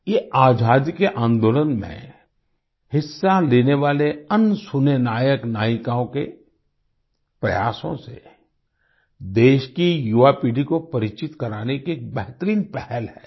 ये आजादी के आंदोलन में हिस्सा लेने वाले अनसुने नायकनायिकाओं के प्रयासों से देश की युवापीढ़ी को परिचित कराने की एक बेहतरीन पहल है